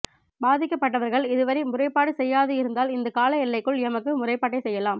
பாதிக்கப்பட்டவர்கள் இதுவரை முறைப்பாடு செய்யாது இருந்தால் இந்த கால எல்லைக்குள் எமக்கு முறைப்பாட்டை செய்யலாம்